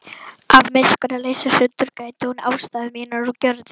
Af miskunnarleysi sundurgreindi hún ástæður mínar og gjörðir.